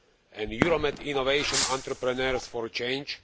and Euromed innovation entrepreneurs for change.